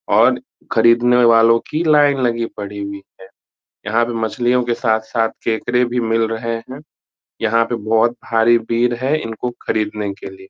और खरीदने वालों की लाइन लगी पड़ी हुई है यहाँ पे मछलियों के साथ-साथ केकड़े भी मिल रहें हैं यहाँ पे बहुत भाड़ी भीड़ है इनकों खरीदने के लिए।